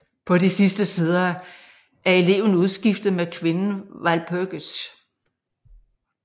På de sidste sider er eleven udskiftet med kvinden Walpurgis